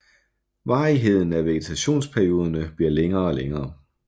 Varigheden af vegetationsperioderne bliver længere og længere